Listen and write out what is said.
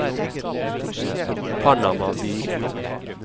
Panama by